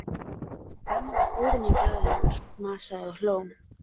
Benni var óvenju glaðlegur, masaði og hló.